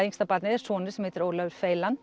yngsta barnið sonur sem heitir Ólafur